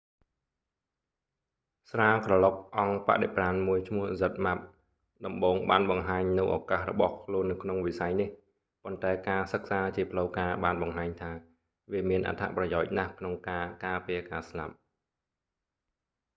ស្រាក្រឡុកអង្គបដិប្រាណមួយឈ្មោះ zmapp ដំបូងបានបង្ហាញនូវឳកាសរបស់ខ្លួននៅក្នុងវិស័យនេះ ប៉ុន្តែការសិក្សាជាផ្លូវការបានបង្ហាញថា វាមានអត្ថប្រយោជន៍ណាស់ក្នុងការការពារការស្លាប់